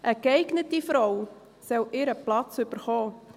Eine geeignete Frau soll ihren Platz bekommen.